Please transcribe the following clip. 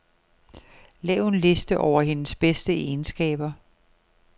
Lav en liste over hendes bedste egenskaber.